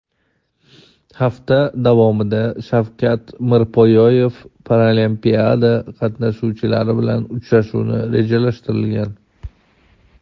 hafta davomida Shavkat Mirziyoyevning Paralimpiada qatnashchilari bilan uchrashuvi rejalashtirilgan.